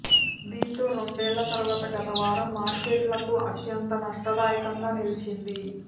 దీంతో రెండేళ్ల తరువాత గత వారం మార్కెట్లకు అత్యంత నష్టదాయకంగా నిలిచింది